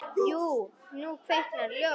Jú, nú kviknar ljós.